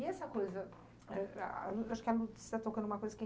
E essa coisa, eh ah, acho que a você está tocando uma coisa que